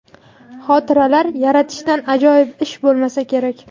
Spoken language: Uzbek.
Xotiralar yaratishdan ajoyib ish bo‘lmasa kerak.